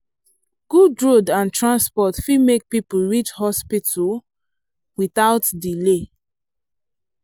good road and transport fit make people reach hospital without delay